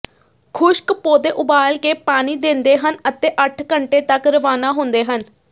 ਖੁਸ਼ਕ ਪੌਦੇ ਉਬਾਲ ਕੇ ਪਾਣੀ ਦਿੰਦੇ ਹਨ ਅਤੇ ਅੱਠ ਘੰਟੇ ਤੱਕ ਰਵਾਨਾ ਹੁੰਦੇ ਹਨ